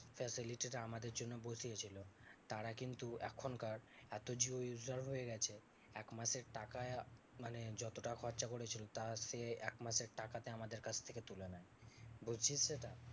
Facility টা আমাদের জন্য বসিয়েছিলো। তারা কিন্তু এখনকার এত জিও user হয়ে গেছে, একমাসের টাকায় মানে যত টাকে খরচা করেছিল তার সে একমাসের টাকাতে আমাদের কাছ থেকে তুলে নেবে বুঝছিস সেটা?